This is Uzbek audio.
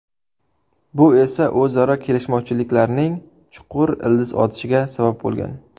Bu esa o‘zaro kelishmovchiliklarning chuqur ildiz otishiga sabab bo‘lgan.